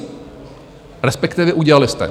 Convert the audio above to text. Respektive udělali jste.